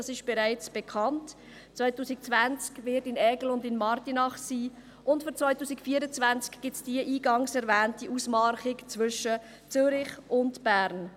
Es ist bereits bekannt, dass sie 2020 in Aigle und Martigny sein wird, und für 2024 gibt es die eingangs erwähnte Ausmarchung zwischen Zürich und Bern.